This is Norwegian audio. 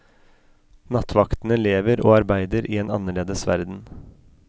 Nattvaktene lever og arbeider i en annerledes verden.